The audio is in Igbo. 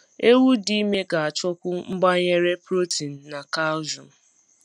Ewu dị ime ga achọkwu mgbanyere protein na calcium